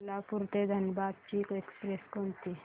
कोल्हापूर ते धनबाद ची एक्स्प्रेस कोणती